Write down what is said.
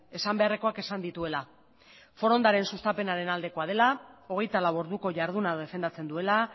esan beharrekoak esan dituela forondaren sustapenaren aldekoa dela hogeita lau orduko jarduna defendatzen duela